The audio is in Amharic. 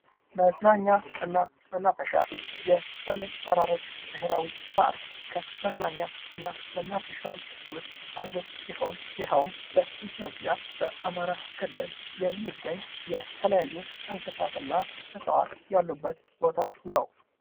መዝናኛና መናፈሻ የሰሜን ተራሮች ብሔራዊ ፓርክ ከመዝናኛና መናፈሻዎች ዉስጥ አንዱ ሲሆን ይሄዉም በኢትዮጵያ በአማራ ክልል የሚገኝ የተለያዩ እንስሳት እና እፅዋት ያሉበት ቦታ ነዉ።